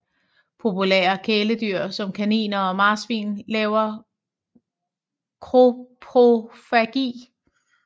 Populære kæledyr som kaniner og marsvin laver koprofagi